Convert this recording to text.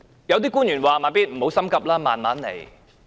有些官員說："'慢咇'，不要心急，慢慢來。